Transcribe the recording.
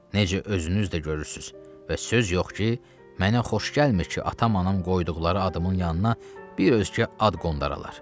Necə özünüz də görürsüz və söz yox ki, mənə xoş gəlmir ki, atam-anam qoyduqları adımın yanına bir özgə ad qondaralar.